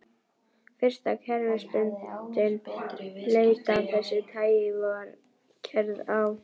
Fyrsta kerfisbundin leit af þessu tagi var gerð á